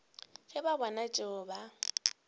ge ba bona tšeo ba